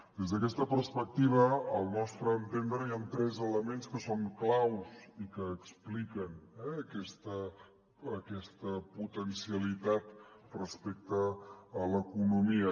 des d’aquesta perspectiva al nostre entendre hi han tres elements que són claus i que expliquen aquesta potencialitat respecte a l’economia